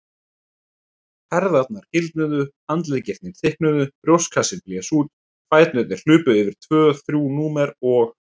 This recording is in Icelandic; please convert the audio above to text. Herðarnar gildnuðu, handleggirnir þykknuðu, brjóstkassinn blés út, fæturnir hlupu yfir tvö þrjú númer og.